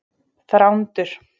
Þrándur